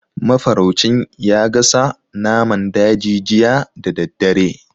Mafaraucin ya gasa naman daji jiya da daddare.